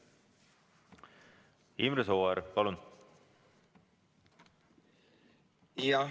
Imre Sooäär, palun!